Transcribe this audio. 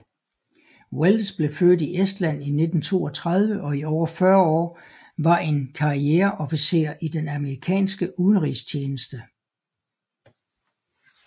Wells blev født i Estland i 1932 og i over 40 år var en karriere officer i den amerikanske udenrigstjeneste